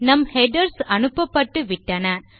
நம் ஹெடர்ஸ் அனுப்பப்பட்டுவிட்டன